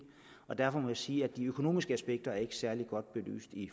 og derfor må jeg sige at de økonomiske aspekter ikke er særlig godt belyst i